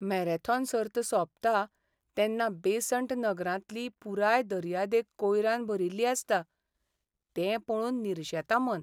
Marathon सर्त सोंपता तेन्ना बेसंट नगरांतली पुराय दर्यादेग कोयरान भरिल्ली आसता, तें पळोवन निरशेता मन.